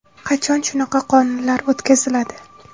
Qachon shunaqa qonunlar o‘tkaziladi?